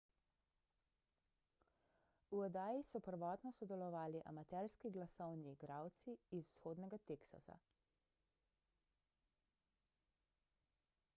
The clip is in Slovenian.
v oddaji so prvotno sodelovali amaterski glasovni igralci iz vzhodnega teksasa